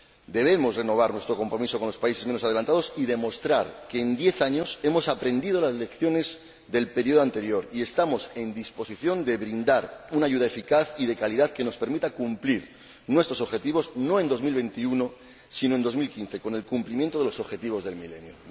Debemos renovar nuestro compromiso con los países menos adelantados y demostrar que en diez años hemos aprendido las lecciones del periodo anterior y estamos en disposición de brindar una ayuda eficaz y de calidad que nos permita cumplir nuestros objetivos no en 2021, sino en 2015, con el cumplimiento de los objetivos del milenio.